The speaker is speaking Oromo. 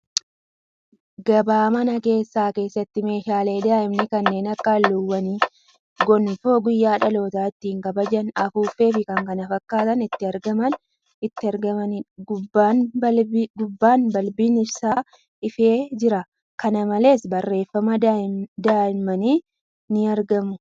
Gabaa mana keessaa keessatti meeshaalee daa'immanii kanneen akka halluuwwan, gonfoo guyyaa dhalootaa ittiin kabajan, afuuffee fi kan kana fakkaatan itti argaman. Gubbaan Balbiin ibsaa ifee jira. Kana malees, barreeffamaa daa'immanii ni argamu.